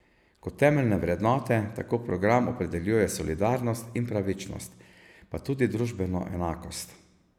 Kot temeljne vrednote tako program opredeljuje solidarnost in pravičnost, pa tudi družbeno enakost.